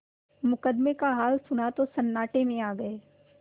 मुकदमे का हाल सुना तो सन्नाटे में आ गये